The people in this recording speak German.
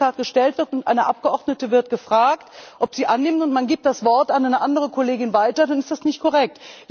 Wenn die gestellt wird und eine Abgeordnete wird gefragt, ob sie annimmt, und man gibt das Wort an eine andere Kollegin weiter, dann ist das nicht korrekt.